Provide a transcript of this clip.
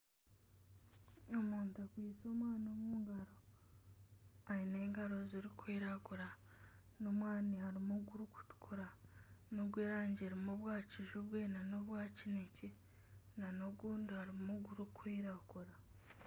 Omuntu akwaitse omwani omu ngaro. Aine engaro zirikwiragura, n'omwani harimu ogurikutukura n'ogw'erangi erimu obwa kijubwe nana obwa kinekye nana ogundi harimu ogurikwiragura.